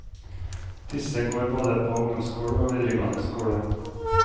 Disse går både på ungdomsskole og videregående skole.